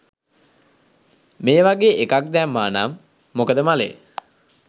මේ වගේ එකක් දැම්මා නං මොකද මලේ